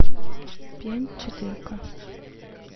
пьянь четырка